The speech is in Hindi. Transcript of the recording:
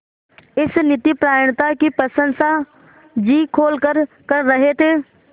इस नीतिपरायणता की प्रशंसा जी खोलकर कर रहे थे